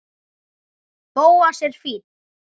Bóas er fínn.